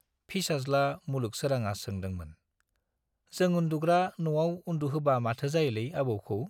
फिसाज्ला मुलुग सोराङा सोंदोंमोन, जों उन्दुग्रा न'आव उन्दुहोबा माथो जायोलै आबौखौ ?